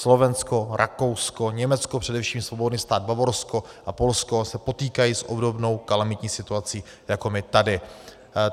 Slovensko, Rakousko, Německo, především Svobodný stát Bavorsko a Polsko se potýkají s obdobnou kalamitní situací jako my tady.